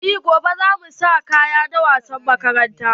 Eh gobe za mu sa kaya na wasan makaranta.